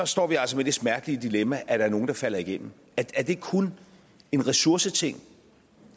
står vi altså med det smertelige dilemma at der er nogle der falder igennem er det kun en ressourceting